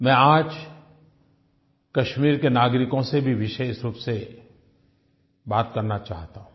मैं आज कश्मीर के नागरिकों से भी विशेष रूप से बात करना चाहता हूँ